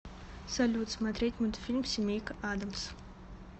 салют смотреть мультфильм семейка адамс